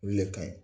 Olu le ka ɲi